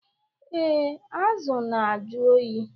Ee, azụ na-ajụ oyi